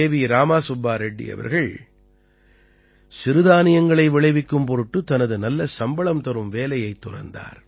ராமா சுப்பா ரெட்டி அவர்கள் சிறுதானியங்களை விளைவிக்கும் பொருட்டு தனது நல்ல சம்பளம் தரும் வேலையைத் துறந்தார்